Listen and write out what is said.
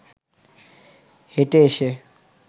হেঁটে এসে